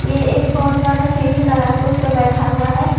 ये एक बहोत बड़ा सीढ़ी लगा के उसपे बैठा हुआ है।